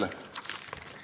Suur tänu teile!